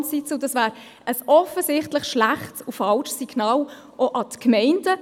Und dies wäre ein offensichtlich schlechtes und falsches Signal auch an die Gemeinden.